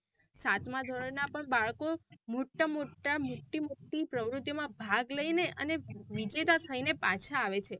સાતમા ધોરણ ના પણ બાળકો મોટા મોટા મોટી મોટી પ્રવૃતિઓ માં ભાગ લઇને અને વિજેતા થઈને પાછા આવે છે.